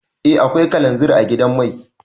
Eh akwai kalanzir a gidan mai.